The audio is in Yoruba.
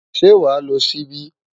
Ṣé wàá lo ṣíbí?